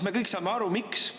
Me kõik saame aru, miks.